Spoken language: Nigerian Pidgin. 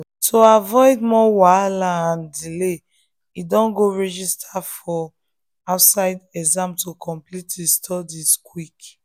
to avoid more wahala and delay e don go register for for outside exam to complete him studies quick.